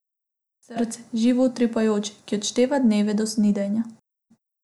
Srce, živo utripajoče, ki odšteva dneve do snidenja.